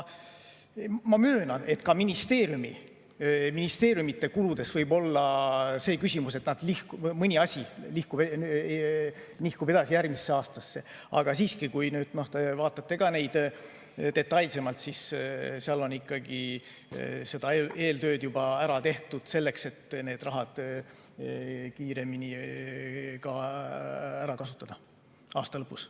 Ma möönan, et ka ministeeriumide kulude puhul võib olla see küsimus, et mõni asi nihkub edasi järgmisse aastasse, aga kui te vaatate detailsemalt, siis seal on ikkagi eeltööd juba ära tehtud, et need rahad kiiremini ära kasutada aasta lõpus.